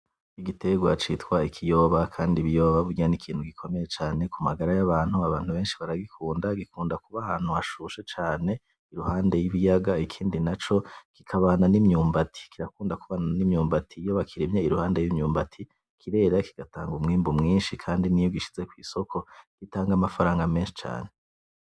Igitegwa citwa ikiyoba, kandi ibiyoba burya n'ikintu gikomeye cane ku magara y'abantu, abantu benshi baragikunda, gikunda kuba ahantu hashushe cane iruhande y'ibiyaga ikindi naco kikabana n'imyumbati, kirakunda kubana n'imyumbati, iyo bakirimye iruhande y'imyumbati kirera kigatanga umwimbu mwinshi kandi n'iyo ugishize kw'isoko gitanga amafaranga menshi cane.